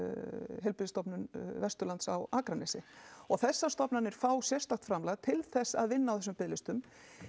Heilbrigðisstofnun Vesturlands á Akranesi og þessar stofnanir fá sérstakt framlag til þess að vinna á þessum biðlistum